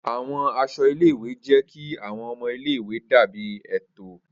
Awọn aṣọ ile-iwe jẹ ki awọn ọmọ ile-iwe dabi eto.